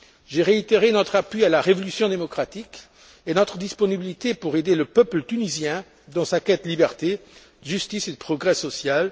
J'ai réitéré notre appui à la révolution démocratique et notre disponibilité à aider le peuple tunisien dans sa quête de liberté, de justice et de progrès social.